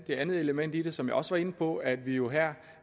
det andet element i det som jeg også var inde på nemlig at vi jo her